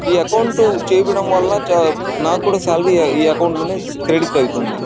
ఇ account చేపియడం వాళ్ళ చ నాకూడా సాలరీ ఇ అకౌంట్ లోనే క్రెడిట్ ఐతుంది.